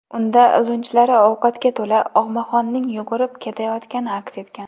Unda lunjlari ovqatga to‘la og‘maxonning yugurib ketayotgani aks etgan.